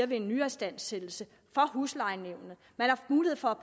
ved en nyistandsættelse for huslejenævnet man har mulighed for at